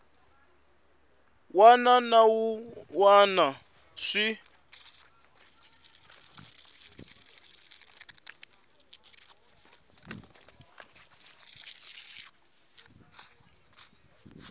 wana na wun wana swi